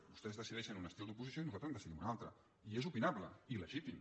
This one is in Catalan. vostès decideixen un estil d’oposició i nosaltres en decidim un altre i és opinable i legítim